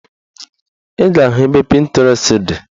Ị ga-ahụ ebe Pịntirest dị